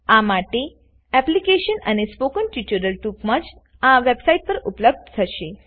આ માટે એપ્લીકેશન અને સ્પોકન ટ્યુટોરીયલ ટુંકમાં જ આ વેબ્સાઈટ પર ઉપલબ્ધ થશે